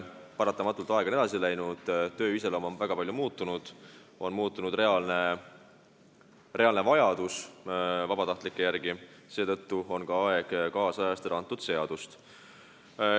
Paratamatult on aeg edasi läinud, töö iseloom on väga palju muutunud ja on muutunud reaalne vajadus vabatahtlike järele, seetõttu on ka aeg seadust ajakohastada.